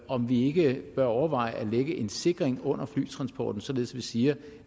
om vi ikke bør overveje at lægge en sikring under flytransporten således at vi siger